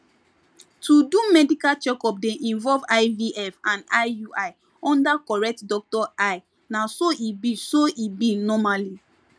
to do medical checkup dey involve ivf and iui under correct doctor eye na so e be so e be normally